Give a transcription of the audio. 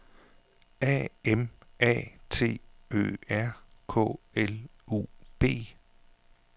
A M A T Ø R K L U B